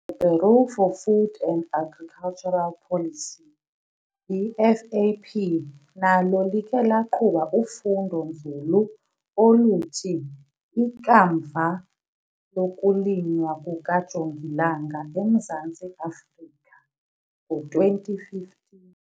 Bureau for Food and Agricultural Policy - BFAP, nalo likhe laqhuba ufundo-nzulu oluthi 'Ikamva lokuLinywa kukajongilanga eMzantsi Afrika' ngo-2015.